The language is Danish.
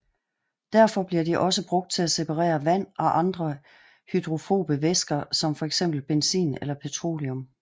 Derfor bliver de også brugt til separere vand og andre hydrofobe væsker som fxbenzin eller petroleum